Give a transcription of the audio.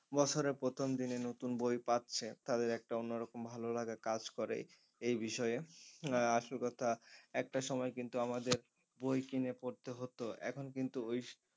বছরে প্রথম দিনে নতুন বই পাচ্ছে তাদের একটা অন্যরকম ভালো লাগা কাজ করে এই বিষয়ে আহ আসল কথা একটা সময় কিন্তু আমাদের বই কিনে পড়তে হত এখন কিন্তু ওই